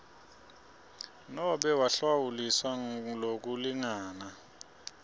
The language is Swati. nobe wahlawuliswa lokulingana